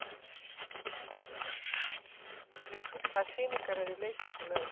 Birnir, hvaða sýningar eru í leikhúsinu á laugardaginn?